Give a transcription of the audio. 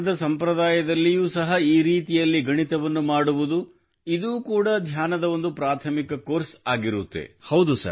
ಧ್ಯಾನದ ಸಂಪ್ರದಾಯದಲ್ಲಿಯೂ ಸಹ ಈ ರೀತಿಯಲ್ಲಿ ಗಣಿತವನ್ನು ಮಾಡುವುದು ಇದು ಕೂಡ ಧ್ಯಾನದ ಒಂದು ಪ್ರಾಥಮಿಕ ಕೋರ್ಸ್ ಆಗಿರುತ್ತದೆ